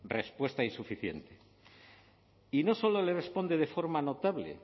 respuesta insuficiente y no solo le responde de forma notable